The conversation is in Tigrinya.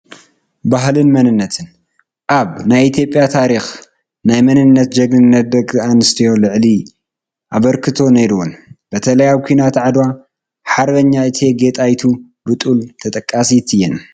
ባህልን መንነትን፡- ኣብ ናይ ኢ/ያ ታሪካዊ ናይ መንነትን ጀግንነትን ደቂ ኣንስትዮ ልዕል ኣበርክቶ ነይሩዎን፡፡ በተለይ ኣብ ኩናት ዓድዋ ሃርበኛ እተጌ ጣይቱ ብጡል ተጠቃሲት እየን፡፡